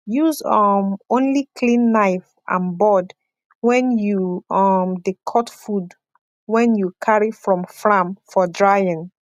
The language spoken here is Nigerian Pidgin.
use um only clean knife and board when you um dey cut food wen you carry from fram for drying